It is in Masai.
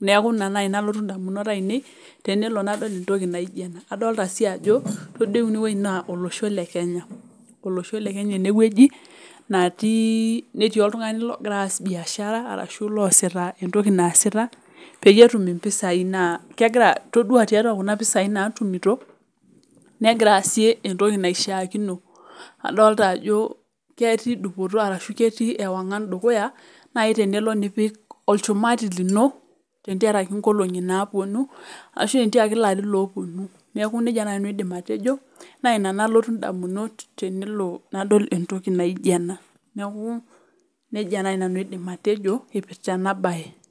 Neeku ina nai nalotu indamunot ainei, tenelo nadol entoki naija ena. Adolta si ajo, tadua enewoi naa olosho le Kenya. Olosho le Kenya enewueji, natii netii oltung'ani logira aas biashara, arashu loosita entoki naasita, peyie etum impisai naa kegira todua tiatua kuna pisai naatumito, negira aasie entoki naishaakino. Adolta ajo ketii dupoto arashu ketii ewang'an dukuya, nai l tenelo nipik olchumati lino, tenteraki nkolong'i naponu, ashu tentiaki larin loponu. Neeku nejia nai nanu aidim atejo, na ina nalotu indamunot tenelo nadol entoki naija ena. Neeku nejia nai nanu aidim atejo, ipirta enabae.